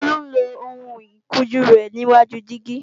Tolu ń lo ohun ìkunjú rẹ níwáju dígí